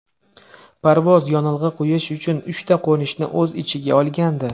Parvoz yonilg‘i quyish uchun uchta qo‘nishni o‘z ichiga olgandi.